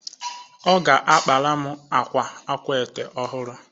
Ọ ga-akpara m akwa akwaete ọhụrụ